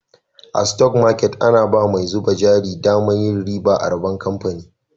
A" stock market " ana ba mai zuba jari daman yin riba a rabon kamfani.